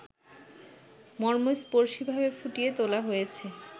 মর্মস্পর্শীভাবে ফুটিয়ে তোলা হয়েছে